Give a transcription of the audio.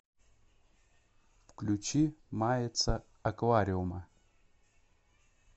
включи мается аквариума